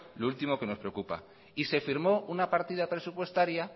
lo último que nos preocupa y se firmó una partida presupuestaria